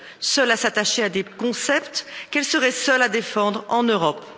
Seule à s'attacher à des concepts qu'elle serait seule à défendre en Europe.